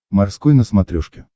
морской на смотрешке